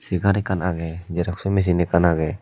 segar ekkan agey xeroxo misin ekkan agey.